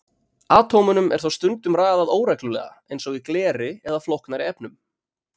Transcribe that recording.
Atómunum er þó stundum raðað óreglulega eins og í gleri eða flóknari efnum.